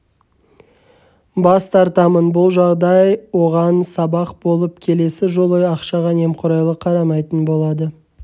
бас тартамын бұл жағдай оған сабақ болып келесі жолы ақшаға немқұрайлы қарамайтын болады